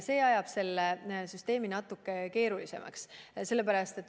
See ajab süsteemi natuke keeruliseks.